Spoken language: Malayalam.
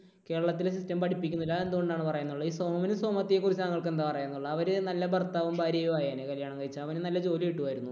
കേരളത്തിലെ system പഠിപ്പിക്കുന്നില്ല. അതെന്തുകൊണ്ടാണ് എന്നാണ് പറയാനുള്ളത്? സോമനും സോമത്തി യെക്കുറിച്ച് താങ്കൾക്ക് എന്താ പറയാനുള്ളത്? അവര് നല്ല ഭർത്താവും ഭാര്യയും ആയേനെ കല്യാണം കഴിച്ചാൽ. അവന് നല്ല ജോലി കിട്ടുമായിരുന്നു